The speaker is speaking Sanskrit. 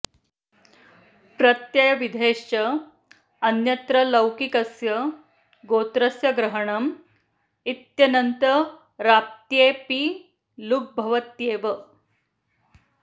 प्रत्ययविधेश्च अन्यत्र लौकिकस्य गोत्रस्य ग्रहणम् इत्यनन्तरापत्ये ऽपि लुग् भवत्येव